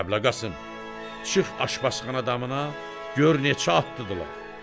Kəblə Qasım, şıx aşpazxana damına gör neçə atlıdırlar.